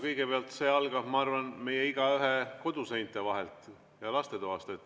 Kõigepealt, see algab, ma arvan, meie igaühe koduseinte vahelt ja lastetoast.